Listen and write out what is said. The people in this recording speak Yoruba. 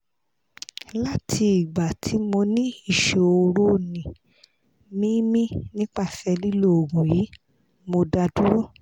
lati igba ti mo ni isoroni mimi nipase lilo oogun yi mo da duro